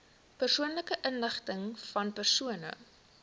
persoonlike inligtingvan persone